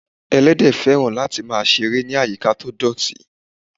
Ẹlẹ́dẹ̀ féràn lati máà ń seré ni ayika to dọ̀tí